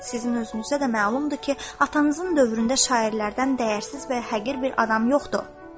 Sizin özünüzdə də məlumdur ki, atanızın dövründə şairlərdən dəyərsiz və həqir bir adam yoxdur.